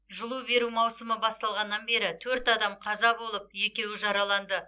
жылу беру маусымы басталғаннан бері төрт адам қаза болып екеуі жараланды